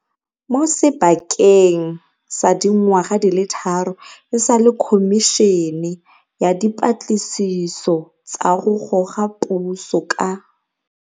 Mo sebakeng sa dingwaga di le tharo e sale Khomišene ya Dipatlisiso tsa go Goga Puso ka